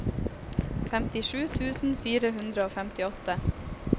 femtisju tusen fire hundre og femtiåtte